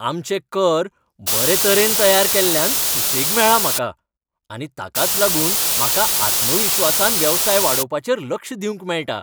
आमचे कर बरेतरेन तयार केल्ल्यान सुसेग मेळ्ळा म्हाका, आनी ताकाच लागून म्हाका आत्मविश्वासान वेवसाय वाडोवपाचेर लक्ष दिवंक मेळटा.